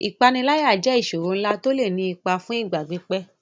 Ìpániláyà jẹ́ ìṣòro ńlá tó lè ní ipa fún ìgbà pípẹ́.